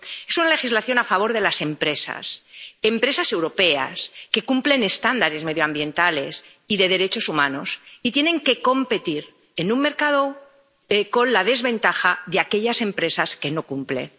Es una legislación a favor de las empresas europeas que cumplen estándares medioambientales y de derechos humanos y que tienen que competir en un mercado con la desventaja de hacerlo con empresas que no cumplen.